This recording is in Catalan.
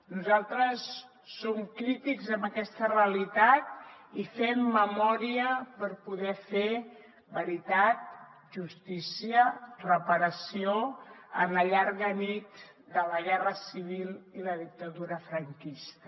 nosaltres som crítics amb aquesta realitat i fem memòria per poder fer veritat justícia i reparació en la llarga nit de la guerra civil i la dictadura franquista